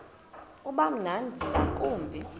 uba mnandi ngakumbi